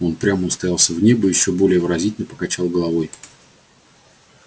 он упрямо уставился в небо и ещё более выразительно покачал головой